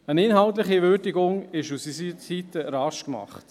Eine inhaltliche Würdigung von unserer Seite ist rasch gemacht.